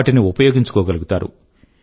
వాటిని ఉపయోగించుకో గలుగుతారు